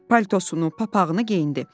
Paltosunu, papaqını geyindi.